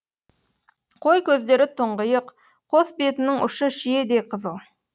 қой көздері тұңғиық қос бетінің ұшы шиедей қызыл